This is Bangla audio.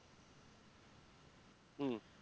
হম